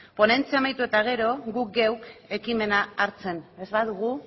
ponentzia amaitu eta gero gu geuk ekimena hartzen ez badugu